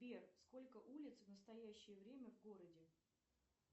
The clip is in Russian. сбер сколько улиц в настоящее время в городе